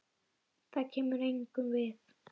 Það kemur engum við.